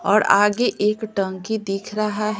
और आगे एक टंकी दिख रहा है।